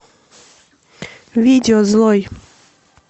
видео злой